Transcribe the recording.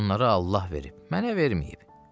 Onları Allah verib, mənə verməyib.